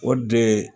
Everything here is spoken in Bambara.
O de